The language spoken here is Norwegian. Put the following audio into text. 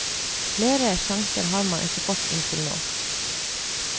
Flere sjanser har han ikke fått inntil nå.